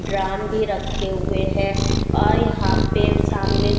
drum भी रखे हुए हैं और यहाँ पे सामने --